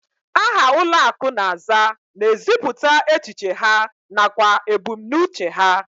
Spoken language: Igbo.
Aha ụlọakụ na-aza na-ezipụta echiche ha nakwa ebumnuche ha